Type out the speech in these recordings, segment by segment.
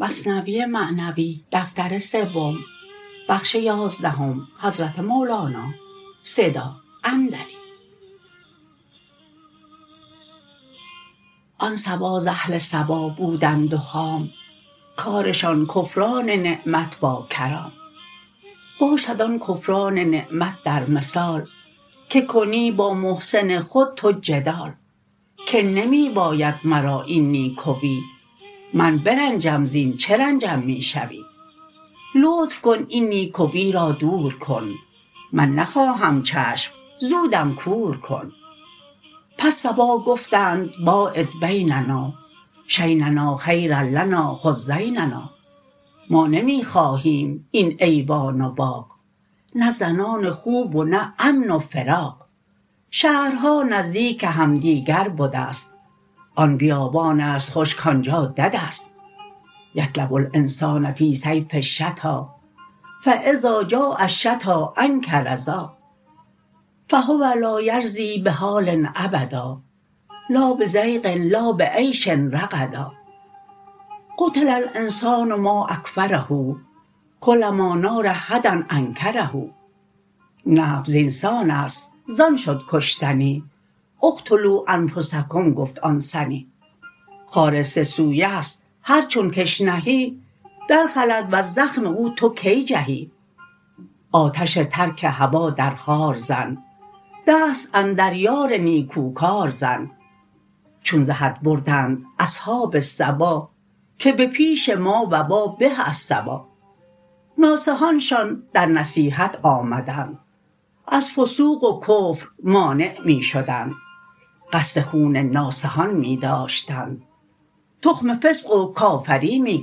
آن سبا ز اهل صبا بودند و خام کارشان کفران نعمت با کرام باشد آن کفران نعمت در مثال که کنی با محسن خود تو جدال که نمی باید مرا این نیکوی من برنجم زین چه رنجم می شوی لطف کن این نیکوی را دور کن من نخواهم چشم زودم کور کن پس سبا گفتند باعد بیننا شیننا خیر لنا خذ زیننا ما نمی خواهیم این ایوان و باغ نه زنان خوب و نه امن و فراغ شهرها نزدیک همدیگر بدست آن بیابانست خوش کانجا ددست یطلب الانسان فی الصیف الشتا فاذا جاء الشتا انکر ذا فهو لا یرضی بحال ابدا لا بضیق لا بعیش رغدا قتل الانسان ما اکفره کلما نال هدی انکره نفس زین سانست زان شد کشتنی اقتلوا انفسکم گفت آن سنی خار سه سویست هر چون کش نهی در خلد وز زخم او تو کی جهی آتش ترک هوا در خار زن دست اندر یار نیکوکار زن چون ز حد بردند اصحاب سبا که بپیش ما وبا به از صبا ناصحانشان در نصیحت آمدند از فسوق و کفر مانع می شدند قصد خون ناصحان می داشتند تخم فسق و کافری می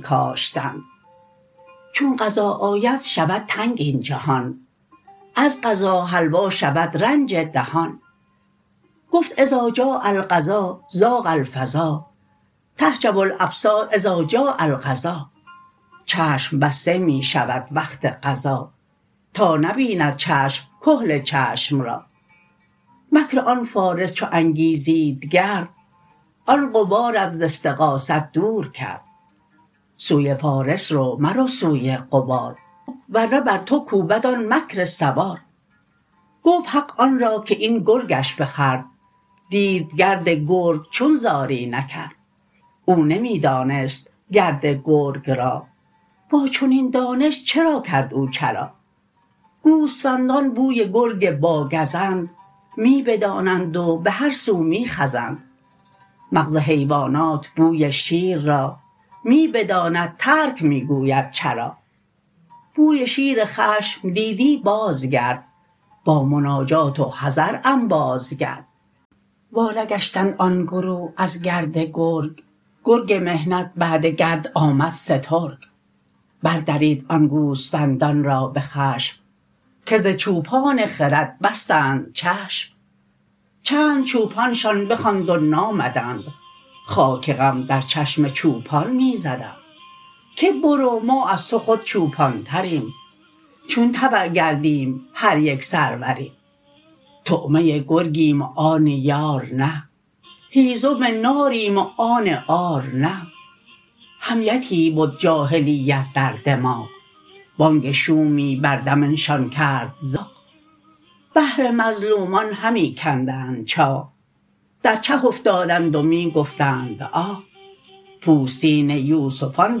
کاشتند چون قضا آید شود تنگ این جهان از قضا حلوا شود رنج دهان گفت اذا جاء القضا ضاق الفضا تحجب الابصار اذ جاء القضا چشم بسته می شود وقت قضا تا نبیند چشم کحل چشم را مکر آن فارس چو انگیزید گرد آن غبارت ز استغاثت دور کرد سوی فارس رو مرو سوی غبار ورنه بر تو کوبد آن مکر سوار گفت حق آن را که این گرگش بخورد دید گرد گرگ چون زاری نکرد او نمی دانست گرد گرگ را با چنین دانش چرا کرد او چرا گوسفندان بوی گرگ با گزند می بدانند و بهر سو می خزند مغز حیوانات بوی شیر را می بداند ترک می گوید چرا بوی شیر خشم دیدی باز گرد با مناجات و حذر انباز گرد وا نگشتند آن گروه از گرد گرگ گرگ محنت بعد گرد آمد سترگ بر درید آن گوسفندان را به خشم که ز چوپان خرد بستند چشم چند چوپانشان بخواند و نامدند خاک غم در چشم چوپان می زدند که برو ما از تو خود چوپان تریم چون تبع گردیم هر یک سروریم طعمه گرگیم و آن یار نه هیزم ناریم و آن عار نه حمیتی بد جاهلیت در دماغ بانگ شومی بر دمنشان کرد زاغ بهر مظلومان همی کندند چاه در چه افتادند و می گفتند آه پوستین یوسفان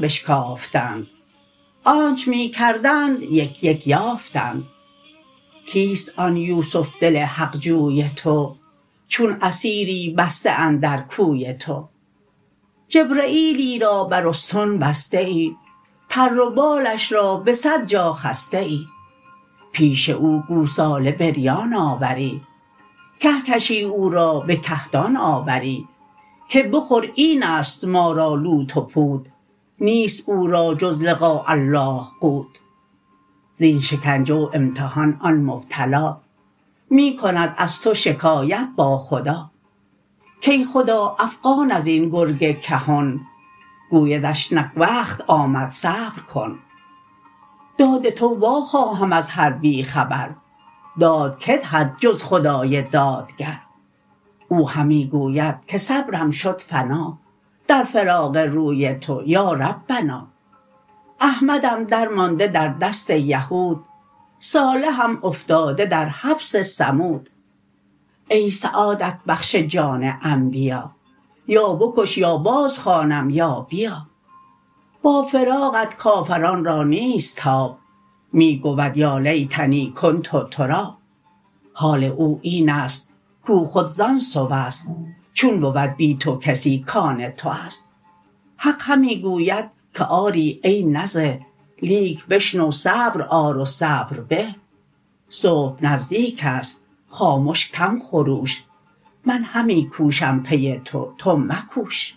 بشکافتند آنچ می کردند یک یک یافتند کیست آن یوسف دل حق جوی تو چون اسیری بسته اندر کوی تو جبرییلی را بر استن بسته ای پر و بالش را به صد جا خسته ای پیش او گوساله بریان آوری گه کشی او را به کهدان آوری که بخور اینست ما را لوت و پوت نیست او را جز لقاء الله قوت زین شکنجه و امتحان آن مبتلا می کند از تو شکایت با خدا کای خدا افغان ازین گرگ کهن گویدش نک وقت آمد صبر کن داد تو وا خواهم از هر بی خبر داد کی دهد جز خدای دادگر او همی گوید که صبرم شد فنا در فراق روی تو یا ربنا احمدم در مانده در دست یهود صالحم افتاده در حبس ثمود ای سعادت بخش جان انبیا یا بکش یا باز خوانم یا بیا با فراقت کافران را نیست تاب می گود یا لیتنی کنت تراب حال او اینست کو خود زان سوست چون بود بی تو کسی کان توست حق همی گوید که آری ای نزه لیک بشنو صبر آر و صبر به صبح نزدیکست خامش کم خروش من همی کوشم پی تو تو مکوش